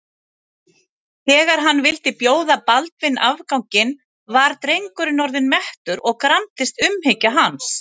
Þegar hann vildi bjóða Baldvin afganginn var drengurinn orðinn mettur og gramdist umhyggja hans.